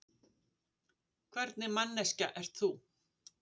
Hvernig manneskja ert þú?